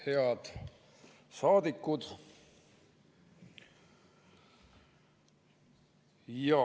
Head saadikud!